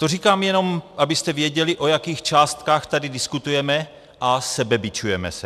To říkám jenom, abyste věděli, o jakých částkách tady diskutujeme, a sebebičujeme se.